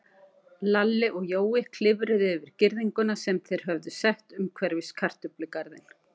Lalli og Jói klifruðu yfir girðinguna sem þeir höfðu sett umhverfis kartöflugarðinn.